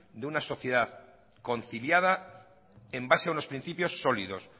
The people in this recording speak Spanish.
de una sociedad conciliada en base a unos principios sólidos